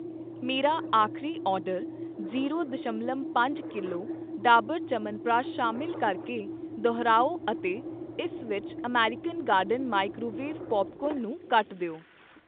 ਮੇਰਾ ਆਖਰੀ order zero ਦਸ਼ਮਲਵ ਪੰਜ ਕਿਲੋ ਡਾਬਰ ਚਯਵਨਪ੍ਰਕਾਸ਼ ਸ਼ਾਮਿਲ ਕਰ ਕੇ ਦੁਹਰਾਓ ਅਤੇ ਇਸ ਵਿੱਚ ਅਮਰੀਕਨ ਗਾਰਡਨ ਮਾਈਕ੍ਰੋਵੇਵ ਪੌਪਕਾਰਨ ਨੂੰ ਕੱਟ ਦਿਓ